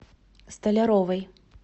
столяровой